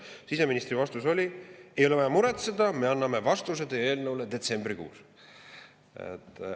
Siseministri vastus oli: ei ole vaja muretseda, me anname vastuse teie eelnõule detsembrikuus.